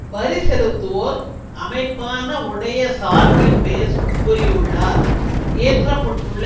வரி செலுத்துவோர் அமைப்பான உடைய சார்பில் பேசும் கூறியுள்ளார் இயற்ற பட்டுள்ள